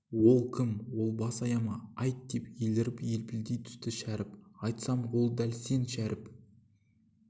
ол кім ол бас аяма айт деп еліріп елпілдей түсті шәріп айтсам ол дәл сен шәріп